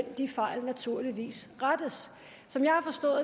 de fejl naturligvis rettes som jeg har forstået